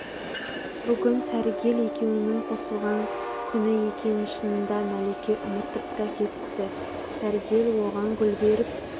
бүгін сәргел екеуінің қосылған күні екенін шынында мәлике ұмытып та кетіпті сәргел оған гүл беріп